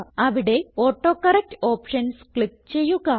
അവിടെ autocorrect options click ചെയ്യുക